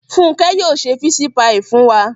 Funke yóò se fisi paii fun wa